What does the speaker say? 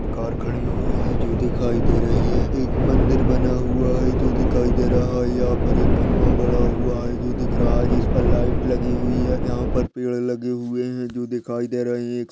Car खड़ी हुई है जो दिखाई दे रही है। एक मंदिर बना हुआ है जो दिखाई दे रहा है। यहाँ पर एक खम्बा गढ़ा हुआ है जो दिख रहा है जिस पर लाइट लगी हुई है यहाँ पर पेड़ लगे हुए हैं जो दिखाई दे रहे हैं।